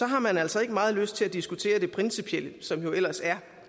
har man altså ikke meget lyst til at diskutere det principielle som jo ellers er